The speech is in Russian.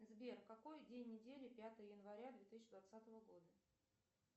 сбер какой день недели пятое января две тысячи двадцатого года